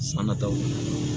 San nataw